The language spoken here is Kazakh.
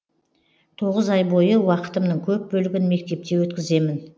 тоғыз ай бойы уақытымның көп бөлігін мектепте өткіземін